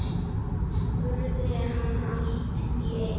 spurði hann allt í einu.